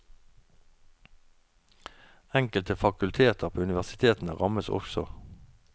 Enkelte fakulteter på universitetene rammes også.